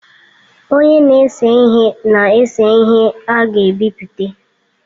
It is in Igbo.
Onye na-ese ihe na-ese ihe a ga-ebipụta.